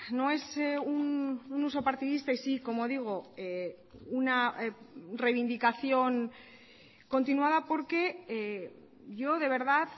no es un uso partidista y sí como digo una reivindicación continuada porque yo de verdad